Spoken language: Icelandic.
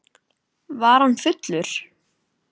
Var hann fullur?